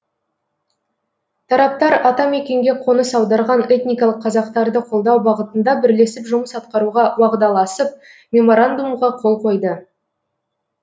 тараптар атамекенге қоныс аударған этникалық қазақтарды қолдау бағытында бірлесіп жұмыс атқаруға уағдаласып меморандумға қол қойды